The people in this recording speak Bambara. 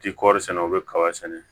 Ti kɔɔri sɛnɛ o bɛ kaba sɛnɛ